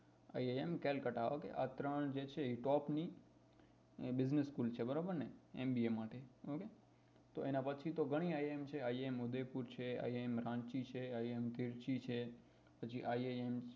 IIM Kolkata okay આ ત્રણ જે છ top ની business school છે બરોબર ને mba તો એના પછી તો ગણી iims છે iim ઉદયપુર છે iim રાંચી છે iim તીરછી છે પછી iim